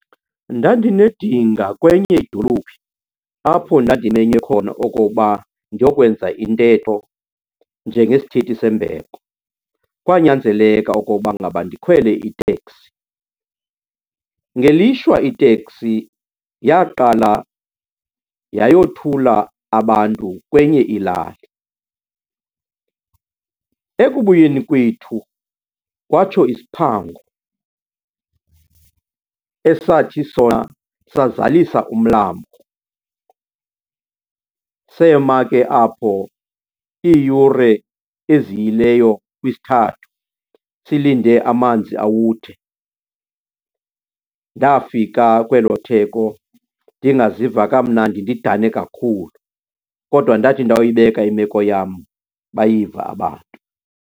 Ndandinedinga kwenye idolophi apho ndandimenywe khona okoba ndiyokwenza intetho njengesithethi sembeko. Kwanyanzeleka okoba ngaba ndikhwele iteksi. Ngelishwa iteksi yaqala yayothula abantu kwenye ilali, ekubuyeni kwethu kwatsho isiphango esathi sona sazalisa umlambo. Sema ke apho iiyure eziyileyo kwisithathu silinde amanzi awuthe. Ndafika kwelo theko ndingaziva kamnandi, ndidane kakhulu. Kodwa ndathi ndawuyibeka imeko yam bayiva abantu.